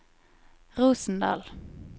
Rosendal